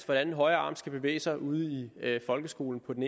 hvordan højre arm skal bevæge sig ude i folkeskolen